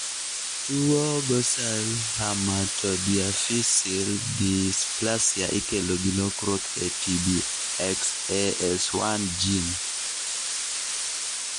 tuwo Ghosal hematodiaphyseal dysplasia ikelo gi lokruok e TBXAS1 gene